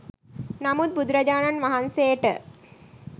නමුත් බුදුරජාණන් වහන්සේට